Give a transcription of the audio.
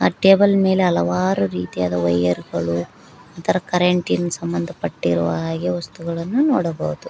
ಆ ಟೇಬಲ್ ಮೇಲೆ ಹಲವಾರು ರೀತಿಯಾದ ವೈರ್ ಗಳು ಒಂಥರ ಕರೆಂಟಿ ನ್ ಸಂಬಂಧ ಪಟ್ಟಿರುವ ಹಾಗೆ ವಸ್ತುಗಳನ್ನು ನೋಡಬಹುದು.